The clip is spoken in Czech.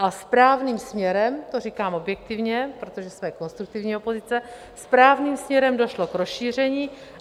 A správným směrem, to říkám objektivně, protože jsme konstruktivní opozice, správným směrem došlo k rozšíření.